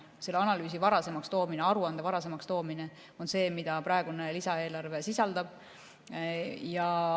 Selle analüüsi varasemaks toomine, aruande varasemaks toomine, on see, mida praegune lisaeelarve sisaldab.